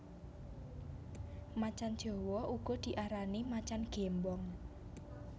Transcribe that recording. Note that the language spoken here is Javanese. Macan jawa uga diarani macan gémbong